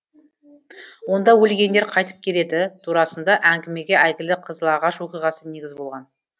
онда өлгендер қайтып келеді турасында әңгімеге әйгілі қызылағаш оқиғасы негіз болған